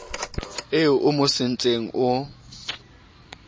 eo o mo sentseng o